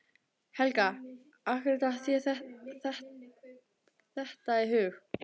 Helga: Af hverju datt þér þetta í hug?